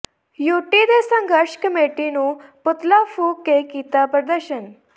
UT ਤੇ ਸੰਘਰਸ਼ committee ਨੇ ਪੁਤਲਾ ਫੂਕ ਕੇ ਕੀਤਾ ਪ੍ਰਦਰਸ਼ਨ